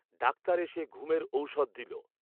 doctor এসে ঘুমের ঔশধ দিল